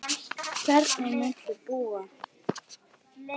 Hvernig muntu búa?